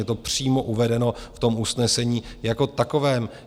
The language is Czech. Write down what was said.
Je to přímo uvedeno v tom usnesení jako takovém.